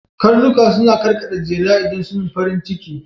Karnuka suna karkaɗa jela idan suna farin ciki